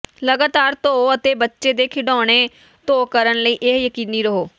ਲਗਾਤਾਰ ਧੋ ਅਤੇ ਬੱਚੇ ਦੇ ਖਿਡਾਉਣੇ ਧੋ ਕਰਨ ਲਈ ਇਹ ਯਕੀਨੀ ਰਹੋ